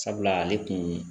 Sabula ale kun